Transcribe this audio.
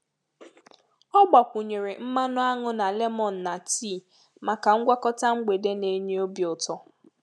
Ọ gbakwunyere mmanụ aṅụ na lemon na tii maka ngwakọta mgbede na-enye obi ụtọ.